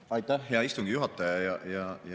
Aitäh, hea istungi juhataja!